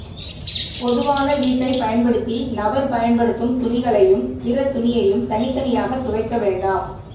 பொதுவான வீட்டைப் பயன்படுத்தி நபர் பயன்படுத்தும் துணிகளையும் பிற துணியையும் தனித்தனியாக துவைக்க வேண்டாம்